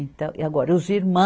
Então, e agora, os irmãos.